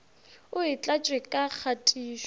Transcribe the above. o e tlatše ka kgatišo